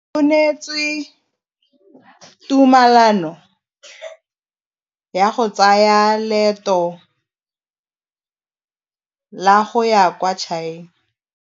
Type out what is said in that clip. O neetswe tumalanô ya go tsaya loetô la go ya kwa China.